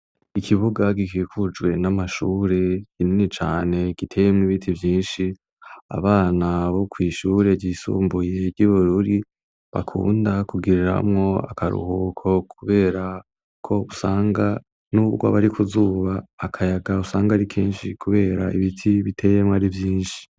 Ikibuga gikikujwe n'amashure kinini cane giteyemwo ibiti byinshi abana bo kw'ishure ryisumbuye ry'ibururi bakunda kugiriramwo akaruhuko kuberako usanga nubwo ab'ari kuzuba akayaga usanga ari kenshi kubera ibiti biteyemwo ari vyinshi.